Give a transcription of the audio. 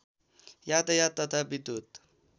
यातायात तथा विद्युत्